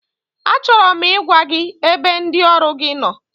Achọrọ m ịgwa gị ebe ndị ọrụ gi nọ,